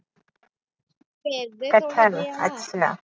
ਕਟਹਲ ਅੱਛਾ।